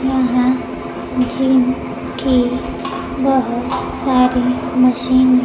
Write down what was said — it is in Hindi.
यहां जिम के बहोत सारी मशीन हैं।